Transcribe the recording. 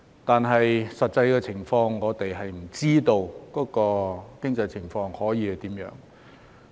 不過，實際的情況是，我們並不知道經濟情況會如何。